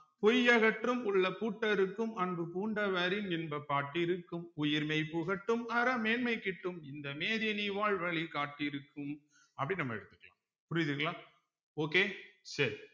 பொய் அகற்றும் உள்ள பூட்டறுக்கும் அன்பு பூண்டவரின் இன்ப பாட்டிருக்கும் உயிர் மெய் புகட்டும் அற மேன்மை கிட்டும் இந்த மேதினி வாழ்வழி காட்டிருக்கும் அப்படீன்னு நம்ம எடுத்துக்கலாம் புரியுதுங்களா okay சரி